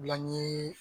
Bila n ye